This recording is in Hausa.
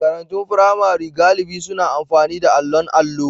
Makarantun firamare galibi suna amfani da allon allo.